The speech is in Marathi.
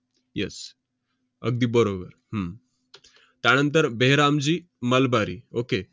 yes अगदी बरोबर. हम्म त्यानंतर बेहरामजी मलबारी. okey